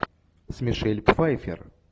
с мишель пфайффер